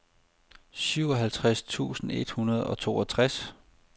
syvoghalvtreds tusind et hundrede og toogtres